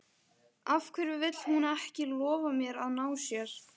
Af hverju vill hún ekki lofa mér að ná sér?